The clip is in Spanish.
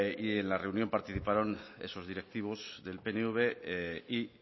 y en la reunión participaron esos directivos del pnv y